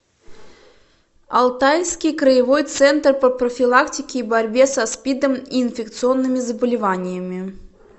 алтайский краевой центр по профилактике и борьбе со спидом и инфекционными заболеваниями